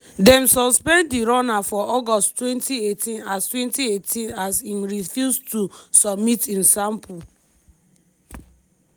dem suspend di runner for august 2018 as 2018 as im refuse to submit im sample